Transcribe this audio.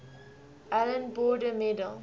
allan border medal